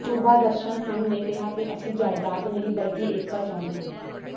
ਸੂਬਾ ਦਰਸ਼ਨ ਸਿੰਘ ਨੇ ਕਿਹਾ ਕਿ ਅਸੀ ਜਾਇਦਾਦ ਨਹੀ ਬਲਕਿ ਏਕਤਾ ਚਾਹੁੰਦੇ ਹਾਂ